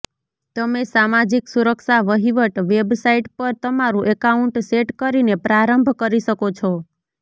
તમે સામાજિક સુરક્ષા વહીવટ વેબસાઇટ પર તમારું એકાઉન્ટ સેટ કરીને પ્રારંભ કરી શકો છો